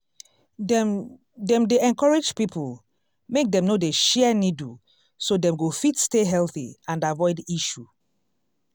dem dem dey encourage people make dem no dey share needle so dem go fit stay healthy and avoid issue